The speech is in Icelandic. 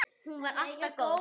Hún var alltaf góð.